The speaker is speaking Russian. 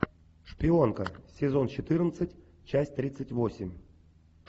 шпионка сезон четырнадцать часть тридцать восемь